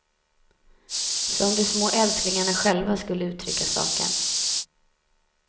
Som de små älsklingarna själva skulle uttrycka saken.